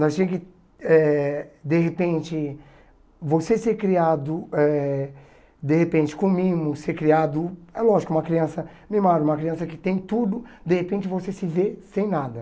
Nós tinha que, eh de repente, você ser criado eh de repente com mimos, ser criado, é lógico, uma criança mimada uma criança que tem tudo, de repente você se vê sem nada.